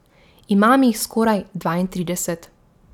Imam jih skoraj dvaintrideset.